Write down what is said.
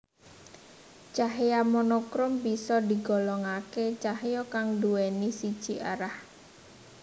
Cahya monokrom bisa digolongake cahya kang nduwèni siji arah